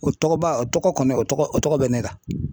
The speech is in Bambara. O tɔgɔba o tɔgɔ kɔni o tɔgɔ o tɔgɔ bɛ ne la .